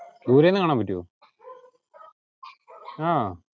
ദുരെന്നു കാണാൻ പറ്റുവോ ആഹ്